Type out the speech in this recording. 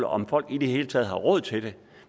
om folk i det hele taget har råd til det